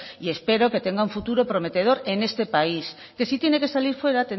y espero que tenga un futuro prometedor en este país que si tiene que salir fuera